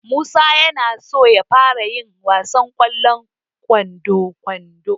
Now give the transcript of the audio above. Musa na so ya fara yin wasan ƙwallon kwando.